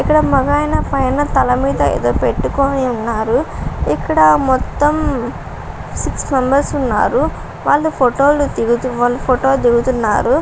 ఇక్కడ మగాయన పైన తల మీద ఏదో పెట్టుకుని ఉన్నారు ఇక్కడ మొత్తం సిక్స్ మెంబర్స్ ఉన్నారు. వాళ్లు ఫోటో లు దిగుతూ వాళ్ళు ఫోటో దిగుతున్నారు.